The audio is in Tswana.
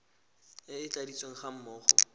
e e tladitsweng ga mmogo